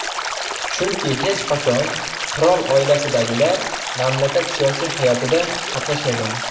Chunki hech qachon qirol oilasidagilar mamlakat siyosiy hayotida qatnashmagan.